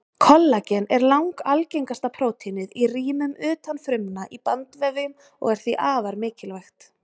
Kollagen er langalgengasta prótínið í rýmum utan frumna í bandvefjum og er því afar mikilvægt.